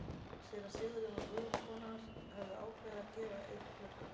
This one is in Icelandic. Séra Sigurjón og Guðrún kona hans höfðu ákveðið að gefa einn gluggann.